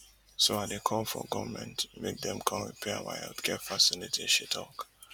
so i dey call for goment make dem come repair our healthcare facility she tok